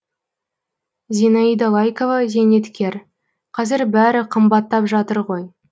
зинаида лайкова зейнеткер қазір бәрі қымбаттап жатыр ғой